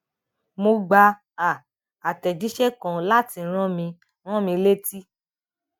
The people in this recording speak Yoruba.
mo gba um atẹjiṣẹ kan láti rán mi rán mi létí